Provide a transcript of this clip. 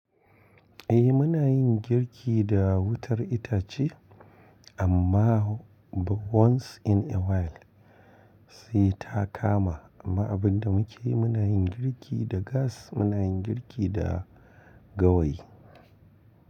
Eh muna yin girki da wutar itace amma once in a while sai ta kama. Amma abin da muke yi muna yin girki da gas, muna yin girki da gawayi.